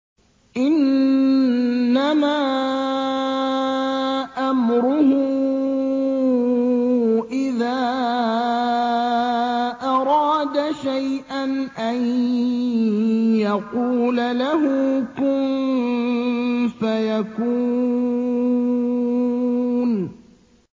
إِنَّمَا أَمْرُهُ إِذَا أَرَادَ شَيْئًا أَن يَقُولَ لَهُ كُن فَيَكُونُ